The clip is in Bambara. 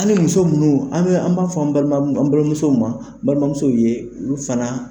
Ali muso minnu an b'a fɔ an balimamusow ma balimamusow ye olu fana